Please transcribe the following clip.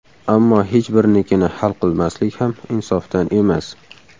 Ammo hech birinikini hal qilmaslik ham insofdan emas.